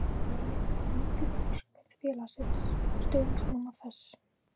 Hver eru raunhæf langtímamarkmið félagsins og stuðningsmanna þess?